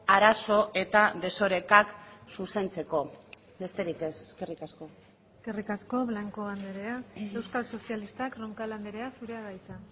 arazo eta desorekak zuzentzeko besterik ez eskerrik asko eskerrik asko blanco andrea euskal sozialistak roncal andrea zurea da hitza